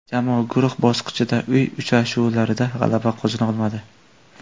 Jamoa guruh bosqichida uy uchrashuvlarida g‘alaba qozona olmadi.